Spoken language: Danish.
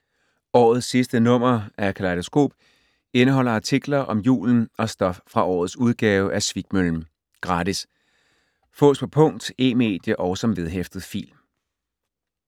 Årets sidste nummer af Kalejdoskop indeholder artikler om julen og stof fra årets udgave af Svikmøllen. Gratis. Fås på punkt, e-medie og som vedhæftet fil.